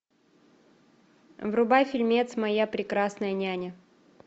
врубай фильмец моя прекрасная няня